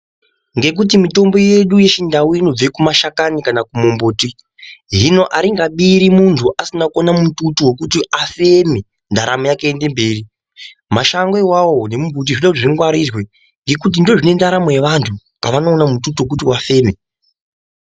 Ngekuti mitombo yedu yechindau inobva kumashakani kana kumumbuti. Hino aringabiri munthu asina kuona mututu wekuti afeme ndaramo yake iende mberi. Mashango iwawo nemumbuti zvinoda kuti zvingwarirwe ngokuti ndozvine ndaramo yevanthu pavanoona mututu wekuti vafeme.